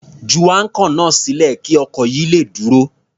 Ju áńkọ̀ náà sílẹ̀ kí ọkọ̀ yìí le dúró.